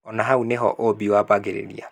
Na hau nĩho ũũmbi wambagĩrĩria.